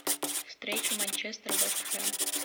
встреча манчестер вест хэм